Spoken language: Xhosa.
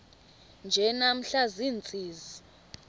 nje namhla ziintsizi